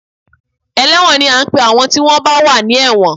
Ẹlẹ́wọ̀n ni à ń pe àwọn tí wọ́n bá wà ní ẹ̀wọ̀n